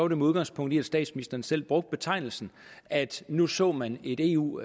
det med udgangspunkt i at statsministeren selv brugte betegnelsen at nu så man et eu